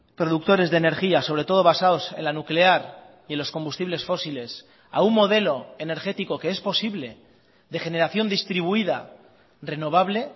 productores de energía sobre todo basados en la nuclear y en los combustibles fósiles a un modelo energético que es posible de generación distribuida renovable